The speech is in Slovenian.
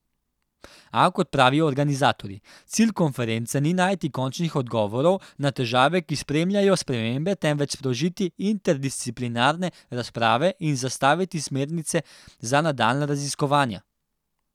A, kot pravijo organizatorji, cilj konference ni najti končnih odgovorov na težave, ki spremljajo spremembe, temveč sprožiti interdisciplinarne razprave in zastaviti smernice za nadaljnja raziskovanja.